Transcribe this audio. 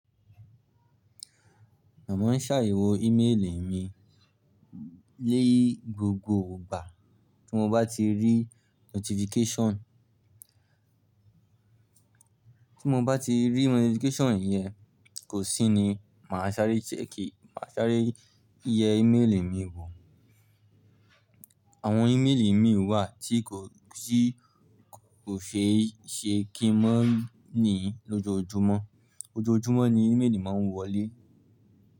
Màá máa ń ṣàyẹ̀wò ímélì mi ni gbogbo ìgbà tí mo bá ti rí notification. Tí mo bá ti rí notification yẹn, kò sí ni, màá ṣàárẹ̀ check e, màá ṣàárẹ̀ yẹ ímélì mi wò. Àwọn ímélì mii wà tí kò, ti kò ṣe é ṣe kí n ma ní lójoójúmọ́. Ojoojúmọ́ ni ímélì máa ń wọlé.